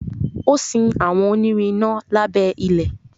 o sin àwọn onirin iná lábé ilẹ.